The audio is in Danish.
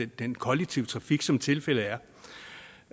den kollektive trafik som tilfældet er